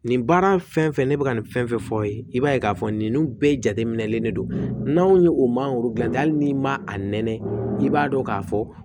Nin baara fɛn fɛn ne bɛ ka nin fɛn fɛn fɔ aw ye i b'a ye k'a fɔ ninnu bɛɛ jateminɛlen de don n'aw ye o mangoro dilan hali n'i ma a nɛnɛ i b'a dɔn k'a fɔ